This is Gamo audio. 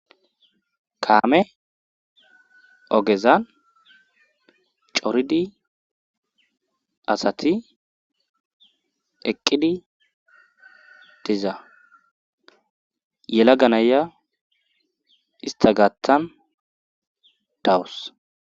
Kaame ogezan coridi asati eqqidi tiza yela ganaya ista gaaththan dawus